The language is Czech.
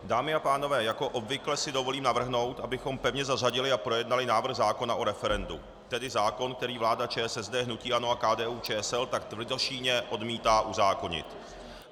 Dámy a pánové, jako obvykle si dovolím navrhnout, abychom pevně zařadili a projednali návrh zákona o referendu, tedy zákon, který vláda ČSSD, hnutí ANO a KDU-ČSL tak tvrdošíjně odmítá uzákonit.